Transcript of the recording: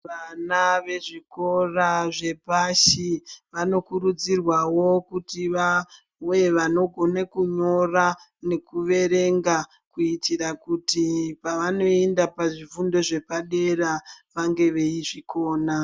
Vana vezvikora zvepashi vanokurudzirwawo kuti vawe vanogona kunyora nekuverenga kuitira kuti pavanoenda pazvifundo zvepadera vange veizvikona.